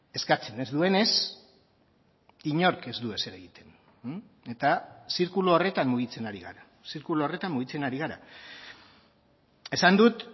eskatzen ez duenez inork ez du ezer egiten eta zirkulu horretan mugitzen ari gara zirkulu horretan mugitzen ari gara esan dut